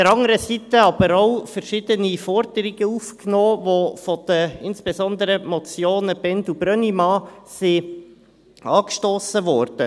Andererseits wurden aber auch verschiedene Forderungen aufgenommen, die insbesondre von den Motionen Bhend und Brönnimann angestossen wurden.